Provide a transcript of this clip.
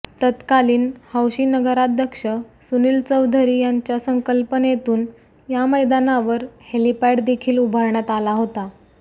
तत्कालीन हौशी नगराध्यक्ष सुनील चौधरी यांच्या संकल्पनेतून या मैदानावर हेलिपॅड देखील उभारण्यात आला होता